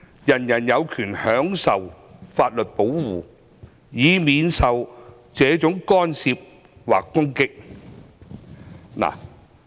人人有權享受法律保護，以免受這種干涉或攻擊。